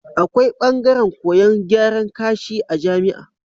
Akwai bangaran koyan gyaran kashi a jamia